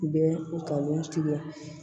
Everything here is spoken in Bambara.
Bɛ u ka wo tigɛ